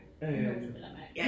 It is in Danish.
Ulåst vel at mærke